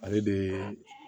Ale de